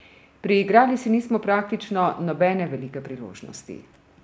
Priigrali si nismo praktično nobene velike priložnosti.